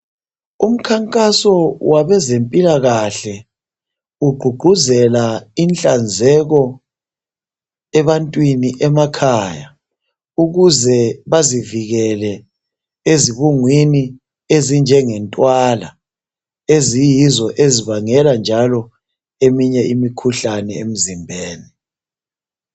Umkhankaso wabezempilakahle ugqugquzela inhlanzeko ebantwini emakhaya ukuze bazivikele ezibungwini ezinjenge ntwala. Eziyizo ezibangela njalo eminye imikhuhlane emizimbeni.